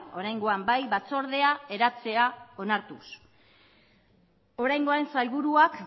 oraingoan bai batzordea eratzea onartuz oraingoan sailburuak